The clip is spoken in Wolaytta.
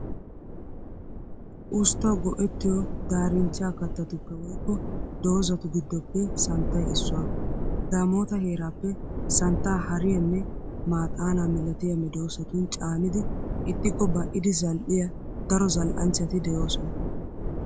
Usttawu go'ettiyo daarinchcha kattatuppe woykko dozatu giddoppe santtay issuwaa. Daamoota heeraappe santtaa hariyaanne maaxaanaa milatiya medoosatun caanidi ixxikko ba'idi zal'iyaa daro zal'anchchati de"oosona.